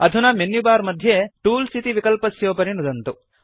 अधुना मेन्युबार मध्ये टूल्स् इति विकल्पस्योपरि नुदन्तु